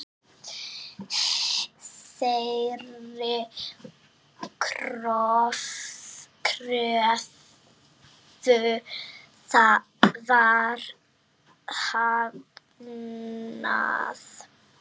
Þeirri kröfu var hafnað.